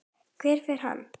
Hvert fer hann?